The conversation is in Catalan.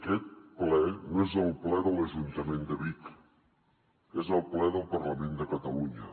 aquest ple no és el ple de l’ajuntament de vic és el ple del parlament de catalunya